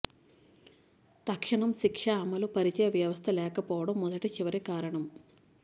తక్షణం శిక్ష అమలు పరిచే వ్యవస్థ లేకపోవడం మొదటి చివరి కారణం